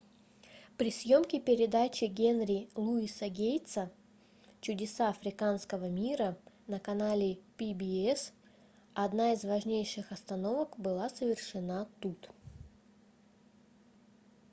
при съемке передачи генри луиса гейтса чудеса африканского мира на канале pbs одна из важнейших остановок была совершена тут